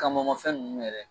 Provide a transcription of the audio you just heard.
Kamanma fɛn ninnu yɛrɛ